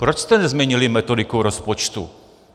Proč jste nezměnili metodiku rozpočtu?